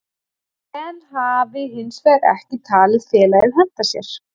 Sven hafi hinsvegar ekki talið félagið henta sér.